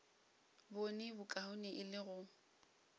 bone bokaone e le go